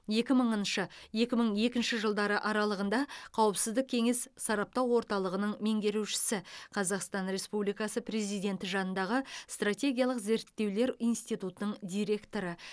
екі мың екі мың екінші жылдары қауіпсіздік кеңесі сараптау орталығының меңгерушісі қазақстан республикасы президенті жанындағы стратегиялық зерттеулер институтының директоры